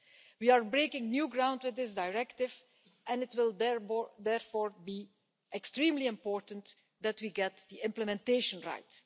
We are breaking new ground with this directive and it will therefore be extremely important that we get the implementation right.